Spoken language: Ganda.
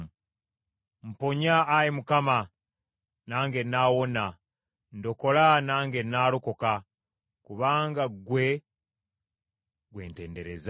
Mponya, Ayi Mukama , nange nnaawona, ndokola nange nnaalokoka, kubanga ggwe gwe ntendereza.